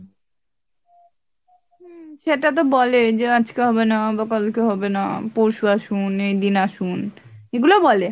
হম সেটা তো বলে যে আজকে, হবে না বা কালকে হবে না পরশু আসুন এই দিন আসুন এগুলো বলে,